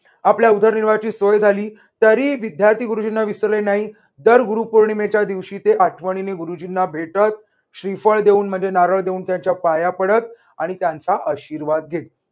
आपल्या उदरनिर्वाहाची सोय झाली तरी विद्यार्थी गुरुजींना विसरले नाहीत. दर गुरुपौर्णिमेच्या दिवशी ते आठवणीने गुरुजींना भेटत. श्रीफळ देऊन म्हणजे नारळ देऊन त्यांच्या पाया पडत आणि त्यांचा आशीर्वाद घेत.